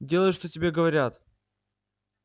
делай что тебе говорят